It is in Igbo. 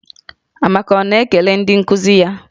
Amaka ọ na-ekele ndị nkuzi ya?